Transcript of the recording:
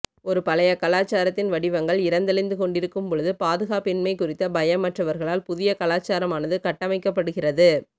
ஒரு பழைய கலாச்சாரத்தின் வடிவங்கள் இறந்தழிந்து கொண்டிருக்கும் போது பாதுகாப்பின்மை குறித்த பயமற்றவர்களால் புதிய கலாச்சாரமானது கட்டமைக்கப்படுகிறது